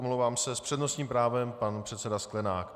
- Omlouvám se, s přednostním právem pan předseda Sklenák.